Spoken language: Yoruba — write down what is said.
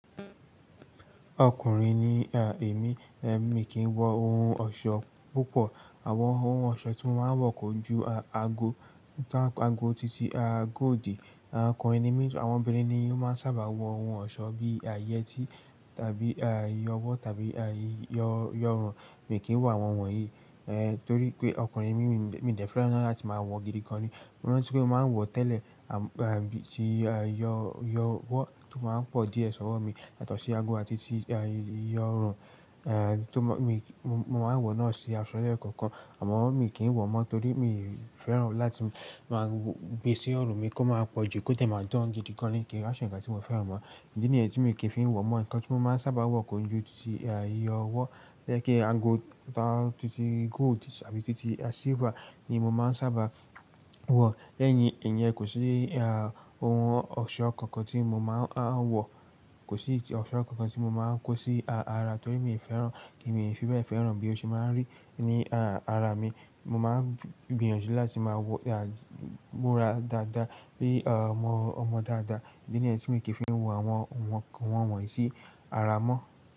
Ọkùnrin ni èmi, èmi kìí wọ ohun ọ̀ṣọ́ púpọ̀. Àwọn ohun ọ̀ṣọ́ tí wọ́n máa ń wọ kò ju ago, ago titi, ago òdì. Ọkùnrin ni mí, àwọn obìnrin ni ó máa ń sábà wọ ohun ọ̀ṣọ́ bíi yẹ́tí tàbí ìyọ̀wọ́ tàbí ìyọ̀run. Mi kìí wọ awọn wọnyi, torí pé ọkùnrin ni mí, mi dé fẹ́ràn láti máa wọ gidi gan ni. Mo rántí pé mó máa n wọ̀ tẹ́lẹ̀, ti ìyọ̀wọ́ tó máa ń pọ̀ díẹ̀ sọ́wọ́ mi, yatọ̀ sí ago àti tí ìyọ̀run, è, mo máa ń wọ̀ náà sí asọ̀ lẹ́ kọ̀ọ̀kan, àmọ́ mi kì wọ̀ mọ́ torí mi i fẹ́ràn láti máa gbé sí ọrùn mi kí ó máa pọ̀jù, kó de máa dán gidi gan ni kí wa ṣe nnkan tí mo fẹ́ran mọ́. Idi ni yen tí mi kìí fi wọ mọ́, nǹkan tí mo máa ń sábà wọ kòju ti ìyọ̀wọ́, jẹ́ kí ago titi gold tàbí titi silver ni mo máa ń sábà wọ̀. Lẹ́yìn ìyẹn, kò sí ohun ọ̀ṣọ́ kankan tí mo máa ń wọ̀, kò sí ọ̀ṣọ́ kankan tí mo máa ń kó sí ara torí mi ò fẹ́ràn, èmi ò fi bẹ́ẹ̀ fẹ́ràn bí ó ṣe máa ń rí ní ara mi. Mo máa ń gbìyànjú láti máa wọ, múra dáadáa, bí ọmọ dáadáa. Idi ni yẹn tí mi kì í fi ń wọ àwọn ohun kan wọnyi sí ara mọ́.